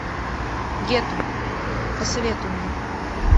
гетто посоветуй мне